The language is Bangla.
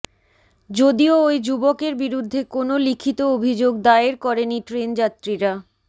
যদিও ওই যুবকের বিরুদ্ধে কোন লিখিত অভিযোগ দায়ের করেনি ট্রেনযাত্রীরা